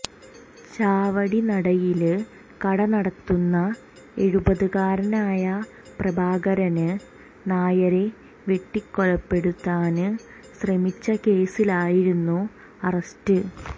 ചാവടിനടയില് കട നടത്തുന്ന എഴുപതുകാരനായ പ്രഭാകരന് നായരെ വെട്ടിക്കൊലപ്പെടുത്താന് ശ്രമിച്ച കേസിലായിരുന്നു അറസ്റ്റ്